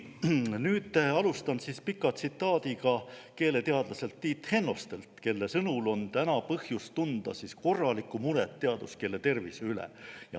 Nüüd alustan pika tsitaadiga keeleteadlaselt Tiit Hennostelt, kelle sõnul on põhjust tunda korralikku muret teaduskeele tervise pärast.